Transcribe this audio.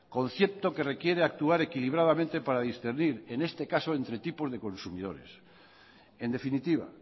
concepto que requiere actuar equilibradamente para discernir en este caso entre tipos de consumidores en definitiva